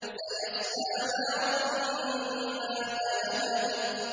سَيَصْلَىٰ نَارًا ذَاتَ لَهَبٍ